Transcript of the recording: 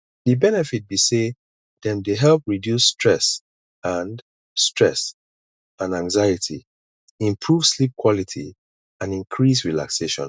di benefit be say dem dey help reduce stress and stress and anxiety improve sleep quality and increase relaxation